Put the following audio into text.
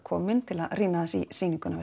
komin til að rýna aðeins í sýninguna